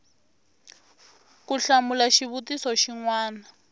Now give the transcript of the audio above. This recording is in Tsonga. ku hlamula xivutiso xin wana